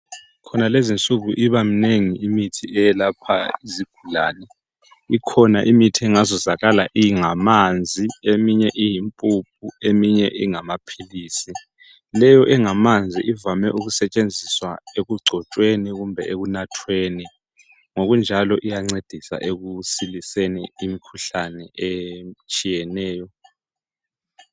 Khonalezi insuku ibaminengi imithi elapha izigulane. lkhona imithi engazuzakala ingamanzi minye iyimpuphu, eminye ingamaphilisi. Leyo engamanzi ivame ukusetshenziswa ekugcotshweni kumbe ekunathweni, Ngokunjalo, iyancedisa ekusiliseni imikhuhlane etshiyeneyo.